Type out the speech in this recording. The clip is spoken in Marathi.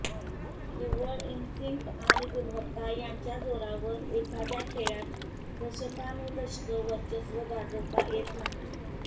निव्वळ इन्स्टिंक्ट आणि गुणवत्ता यांच्या जोरावर एखाद्या खेळात दशकानुदशकं वर्चस्व गाजवता येत नाही